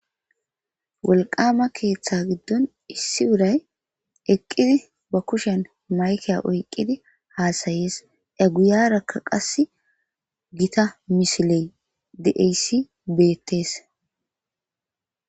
Woliqama keeththa giddon issi urayi eqqida ba kushiyan mayike oyiqqidi hasayishe a guyaraka qassi gita missile diziya issi beettes.